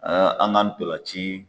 an kan tolan ci.